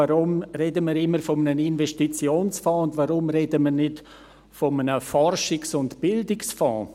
Warum reden wir eigentlich immer von einem Investitionsfonds, und warum reden wir nicht von einem Forschungs- und Bildungsfonds?